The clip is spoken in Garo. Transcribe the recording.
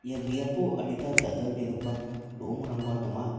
ia biapo adita dal·dalbegipa ro·ongrangba donga.